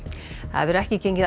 það hefur ekki gengið